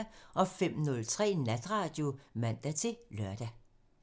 05:03: Natradio (man-lør)